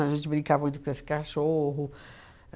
A gente brinca muito com esse cachorro.